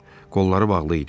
Qolları bağlı idi.